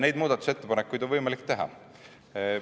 Neid muudatusettepanekuid on võimalik teha.